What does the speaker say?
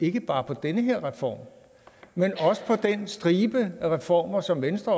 ikke bare på den her reform men også på den stribe af reformer som venstre